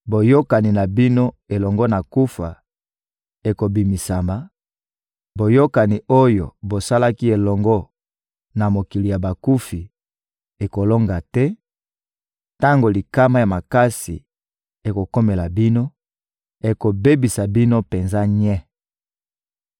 Boyokani na bino elongo na kufa ekobebisama, boyokani oyo bosalaki elongo na mokili ya bakufi ekolonga te; tango likama ya makasi ekokomela bino, ekobebisa bino penza nye.